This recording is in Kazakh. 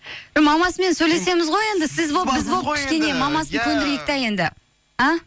мамасымен сөйлесеміз ғой енді сіз болып біз болып кішкене мамасын көндірейік те енді а